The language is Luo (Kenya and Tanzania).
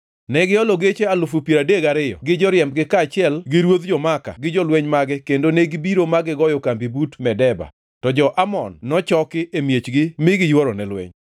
Ne giholo geche alufu piero adek gariyo gi joriembgi kaachiel gi ruodh jo-Maaka gi jolweny mage kendo negibiro ma gigoyo kambi but Medeba, to jo-Amon nochoki e miechgi mi negiyworone lweny.